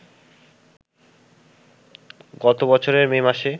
গত বছরের মে মাসে